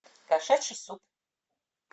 кошачий суп